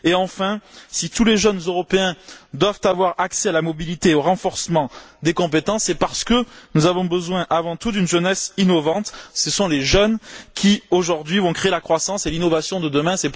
Enfin, si tous les jeunes Européens doivent avoir accès à la mobilité et au renforcement des compétences, c'est parce que nous avons besoin avant tout d'une jeunesse innovante. Ce sont les jeunes qui, aujourd'hui, vont créer la croissance et l'innovation de demain.